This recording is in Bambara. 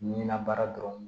Ɲinan baara dɔrɔn